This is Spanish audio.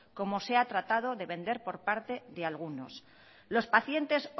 como se ha tratado de vender por parte de algunos los pacientes